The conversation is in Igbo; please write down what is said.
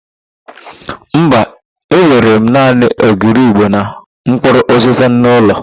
Mba, enwere m naanị ogiri ịgbo na mpkụrụ ụzịza n'ụlọ.